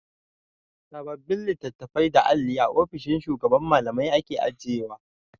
Sababbin litattafai da alli a ofishin shugaban Mallamai ake ajiyewa.